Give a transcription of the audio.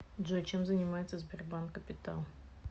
джой чем занимается сбербанк капитал